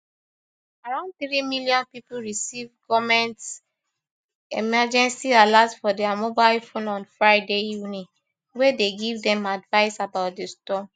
around three million pipo receive goment emergency alert for dia mobile phones on friday evening wey dey give dem advice about di storm